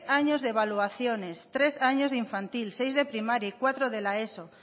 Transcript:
años de evaluaciones tres años de infantil seis de primaria y cuatro de la eso